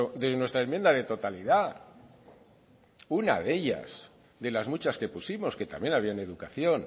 de nuestra enmienda de totalidad una de ellas de las muchas que pusimos que también había en educación